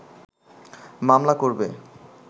মামলা করবে’